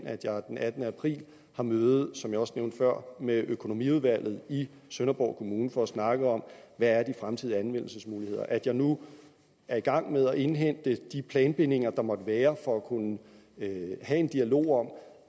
at jeg den attende april har møde som jeg også nævnte før med økonomiudvalget i sønderborg kommune for at snakke om hvad de fremtidige anvendelsesmuligheder at jeg nu er i gang med at indhente de planbindinger der måtte være for at kunne have en dialog om